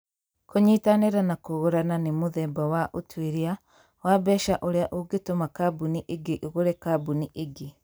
Kũnyitanĩra na kũgũrana nĩ mũthemba wa ũtuĩria wa mbeca ũrĩa ũngĩtũma kambuni ĩngĩ ĩgũre kambuni ĩngĩ.